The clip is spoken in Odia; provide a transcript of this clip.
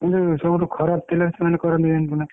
କିନ୍ତୁ ସବୁଠୁ ଖରାପ ତେଲ ରେ ସେମାନେ କରନ୍ତି ଜାଣିଛୁନା।